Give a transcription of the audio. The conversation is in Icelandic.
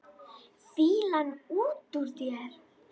Fýlan út úr þér!